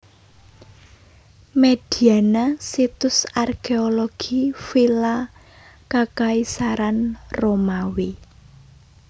Mediana Situs arkéologi vila kakaisaran Romawi